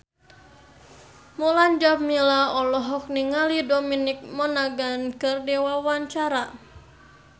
Mulan Jameela olohok ningali Dominic Monaghan keur diwawancara